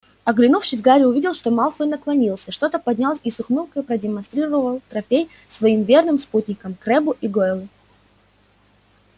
оглянувшись гарри увидел что малфой наклонился что-то поднял и с ухмылкой продемонстрировал трофей своим верным спутникам крэббу и гойлу